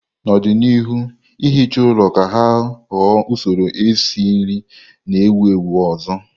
N'ọdịnihu, ihicha ụlọ ga-aghọ usoro esi nri na-ewu ewu ọzọ.